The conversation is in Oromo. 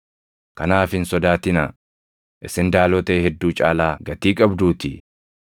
Kanaaf hin sodaatinaa; isin daalotee hedduu caalaa gatii qabduutii.